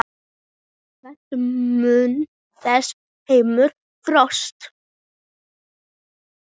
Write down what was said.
Hvernig mun þessi heimur þróast?